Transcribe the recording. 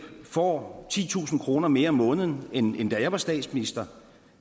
får i titusind kroner mere om måneden end da jeg var statsminister